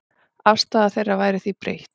Afstaða þeirra væri því breytt.